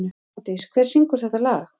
Svandís, hver syngur þetta lag?